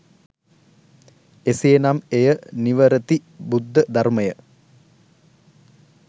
එසේනම් එය නිවරති බුද්ධ ධර්මය